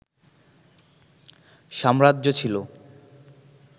সাম্রাজ্য ছিল